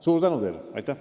Suur tänu teile!